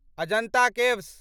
Ajanta caves